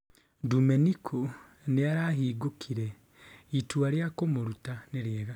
Dumeniku nĩarahingũkire: " itua ria kumuruta nĩ riega".